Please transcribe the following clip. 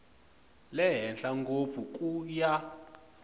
le henhla ngopfu ku ya